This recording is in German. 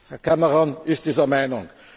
Herr Cameron ist dieser Meinung.